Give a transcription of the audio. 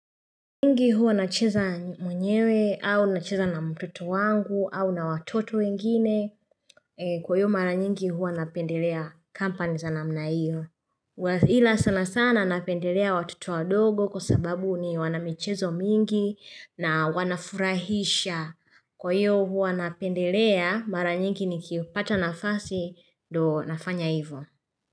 Nyingi huwa nacheza mwenyewe au nacheza na mtoto wangu au na watoto wengine kwa hiyo mara nyingi huwa napendelea companies za namna hiyo huwa ila sana sana napendelea watoto wadogo kwa sababu ni wanamichezo mingi na wanafurahisha kwa hiyo huwa napendelea mara nyingi nikipata nafasi ndo nafanya hivyo.